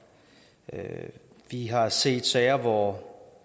vi har set sager hvor